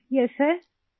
yes sir